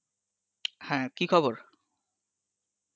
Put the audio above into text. হ্যাঁ কি খবর?